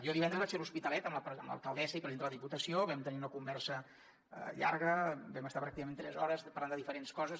jo divendres vaig ser a l’hospitalet amb l’alcaldessa i presidenta de la diputació vam tenir una conversa llarga vam estar pràcticament tres hores parlant de diferents coses